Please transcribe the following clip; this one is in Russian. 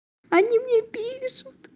они мне пишут